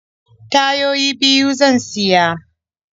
Tayoyi biyu zan siya.